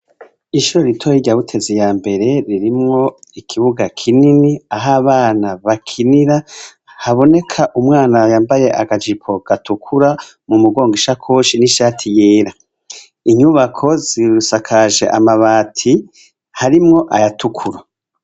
Ishure ritoyi ry butezi ya mbere ririmwo ikibuga kinini ah'abana bakinira haboneka umwana yambaye akajipo gatukura mu mugongo ishakoshi n'ishati yera, inyubako zisakaje amabati ahrimwo ayatukura.